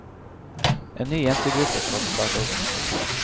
En ny jentegruppe skal starte opp.